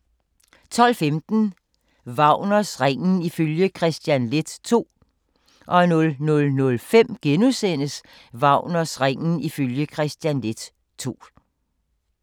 12:15: Wagners Ringen ifølge Kristian Leth II 00:05: Wagners Ringen ifølge Kristian Leth II *